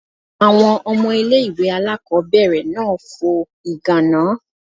Àwọn ọmọ ilé ìwé aláàkọ́bẹ̀rẹ̀ náà fo ìgàná.